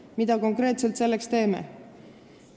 Mida konkreetselt me selleks teeme?